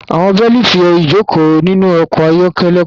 Àwọn bélíìtì ìjókòó nínú ọkọ̀ ayọ́kẹ́lẹ́ kò dára.